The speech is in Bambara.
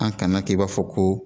An kan'an k'i b'a fɔ ko